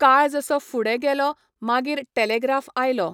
काळ जसो फुडें गेलो मागीर टेलेग्राफ आयलो.